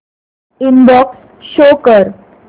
inbox show कर